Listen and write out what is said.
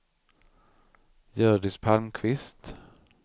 Hjördis Palmqvist